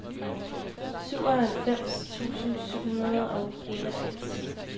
syvoghalvfems tusind syv hundrede og enogfirs